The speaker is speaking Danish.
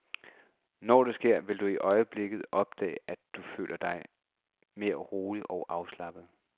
Når det sker, vil du øjeblikke opdage, at du føler dig mere rolig, mere afslappet.